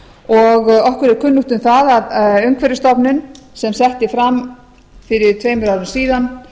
og okkur er kunnugt um það að umhverfisstofnun sem setti fram fyrir tveimur árum síðan